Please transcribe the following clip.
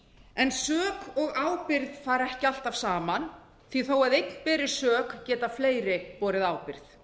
en sök og ábyrgð fara ekki alltaf saman því þó að einn beri sök geta fleiri borið ábyrgð